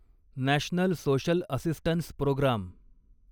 national social assistance programme